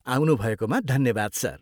आउनु भएकोमा धन्यवाद सर ।